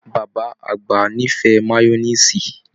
Bàbá àgbà n'ifẹ mayọniisi.